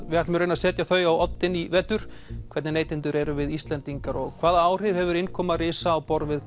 við ætlum að setja þau á oddinn í vetur hvernig neytendur erum við Íslendingar og hvaða áhrif hefur innkoma risa á borð við